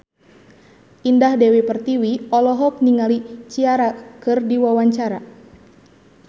Indah Dewi Pertiwi olohok ningali Ciara keur diwawancara